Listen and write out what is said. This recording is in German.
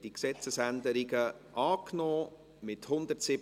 Schlussabstimmung (2019.VOL.51; 1. und einzige Lesung)